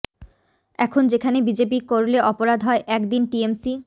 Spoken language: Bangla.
এখন যেখানে বিজেপি করলে অপরাধ হয় এক দিন টিএমসি